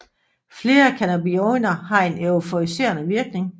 Flere cannabinoider har en euforiserende virkning